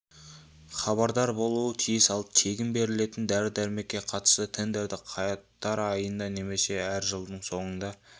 хабардар болуы тиіс ал тегін берілетен дәрі-дермекке қатысты тендерді қаңтар айында немесе әр жылдың соңында